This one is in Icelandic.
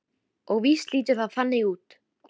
Og víst lítur það þannig út.